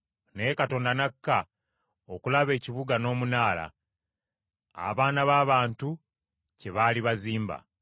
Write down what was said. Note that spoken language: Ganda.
Naye Mukama nakka okulaba ekibuga n’omunaala, abaana b’abantu kye baali bazimba.